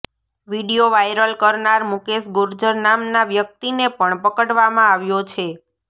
video viral કરનાર મુકેશ ગુર્જર નામના વ્યક્તિને પણ પકડવામાં આવ્યો છે